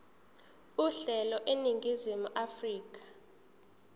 uhlelo eningizimu afrika